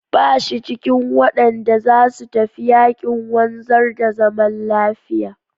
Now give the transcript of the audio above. Ba shi cikin waɗanda za su tafi yaƙin wanzar da zaman lafiya.